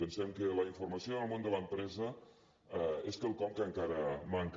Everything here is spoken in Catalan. pensem que la informació en el món de l’empresa és quelcom que encara manca